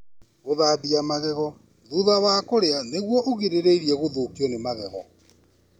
Gũthambia magego thutha wa kũrĩa nĩguo ũgirĩrĩrie gũthũkio nĩ magego.